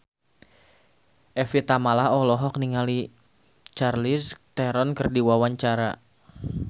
Evie Tamala olohok ningali Charlize Theron keur diwawancara